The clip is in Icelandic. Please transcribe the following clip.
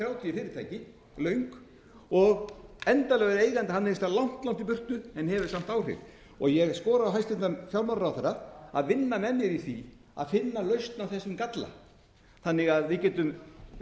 þrjátíu fyrirtæki löng og endanlegur eigandi hann er einhvers staðar langt langt í burtu en hefur samt áhrif ég skora á hæstvirtan fjármálaráðherra að vinna með mér í því að finna lausn á þessum galla þannig að við þurfum ekki